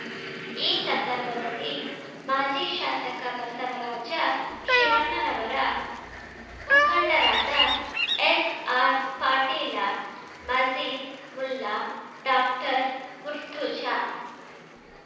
ಈ ಸಂದರ್ಭದಲ್ಲಿ ಮಾಜಿ ಶಾಸಕ ಬಸವರಾಜ ಶಿವಣ್ಣನವರ ಮುಖಂಡರಾದ ಎಸ್ಅರ್ಪಾಟೀಲ ಮಜೀದ್ ಮುಲ್ಲಾ ಡಾಕ್ಟರ್ಮುರ್ತುಜಾ